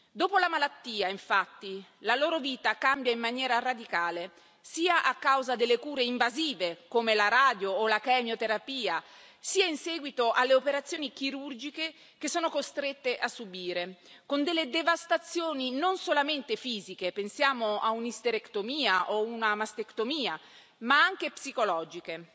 Dopo la malattia, infatti, la loro vita cambia in maniera radicale, sia a causa delle cure invasive, come la radioterapia o la chemioterapia, sia in seguito alle operazioni chirurgiche che sono costrette a subire, con delle devastazioni non solamente fisiche pensiamo a un'isterectomia o a una mastectomia ma anche psicologiche.